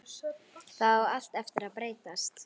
Það á allt eftir að breytast!